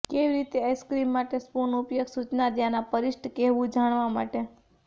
કેવી રીતે આઈસ્ક્રીમ માટે સ્પૂન ઉપયોગ સૂચના ત્યાંના પરિશિષ્ટ કહેવું જાણવા માટે